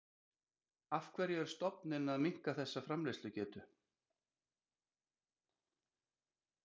Af hverju er stofninn að minnka þessa framleiðslugetu?